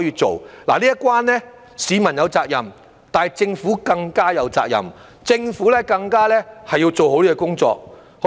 這一關市民有責任，但政府更加有責任，政府更加要做好這工作。